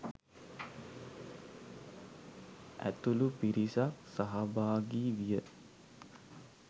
ඇතුළු පිරිසක් සහභාගී විය.